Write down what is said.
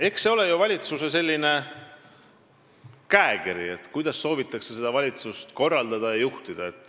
Eks see ole valitsuse käekiri, kuidas soovitakse valitsemist korraldada ja juhtida.